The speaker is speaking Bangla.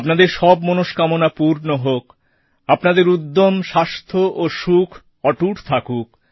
আপনাদের সব মনষ্কামনা পূর্ণ হোক আপনাদের উদ্যম স্বাস্থ্য ও সুখ অটুট থাকুক